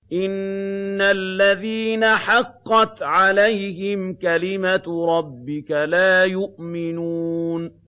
إِنَّ الَّذِينَ حَقَّتْ عَلَيْهِمْ كَلِمَتُ رَبِّكَ لَا يُؤْمِنُونَ